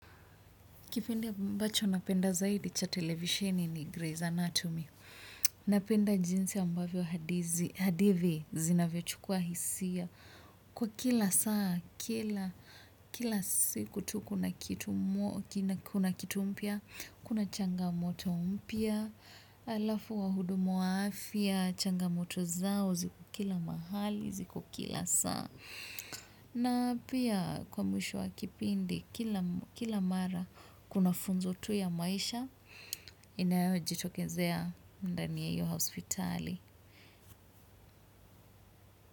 Kipindi ambacho napenda sana cha televisheni ni Grays Anatomy. Napenda jinsi ambavyo hadidhi zinavyo chukua hisia. Kwa kila saa, kila siku tu kuna kitu mpya, kuna changamoto mpya, alafu wahudumu wa afya, changamoto zao, ziko kila mahali, ziko kila saa. Na pia kwa mwisho wa kipindi, kila mara kuna funzo tu ya maisha, inayo jitokezea ndani ya iyo hospitali.